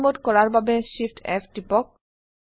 fly mode কৰাৰ বাবে Shift F টিপক